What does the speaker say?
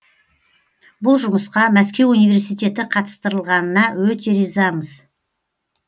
бұл жұмысқа мәскеу университеті қатыстырылғанына өте ризамыз